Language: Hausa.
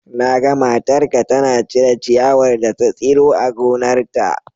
Na ga matarka tana cire ciyawar da ta tsiro a gonarta.